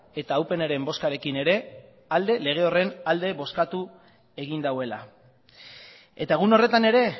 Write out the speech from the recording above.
eta upnren bozkarekin ere lege horren alde bozkatu egin duela eta egun horretan ere